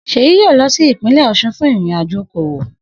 Seyi yoo lo si ipinle Osun fun irin ajo okowo.